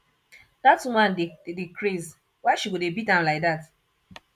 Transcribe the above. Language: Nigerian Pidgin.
that woman dey dey craze why she go dey beat am like dat